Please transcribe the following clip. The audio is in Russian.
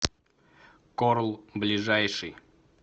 корл ближайший